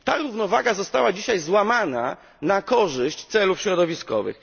Ta równowaga została dzisiaj złamana na korzyść celów środowiskowych.